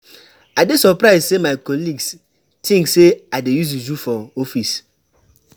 I dey surprise sey my colleagues tink sey I dey use juju for office.